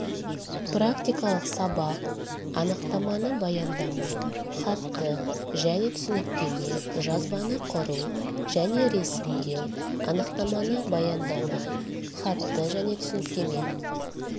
практикалық сабақ анықтаманы баяндама хатты және түсініктеме жазбаны құру және ресімдеу анықтаманы баяндама хатты және түсініктеме